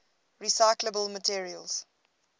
recyclable materials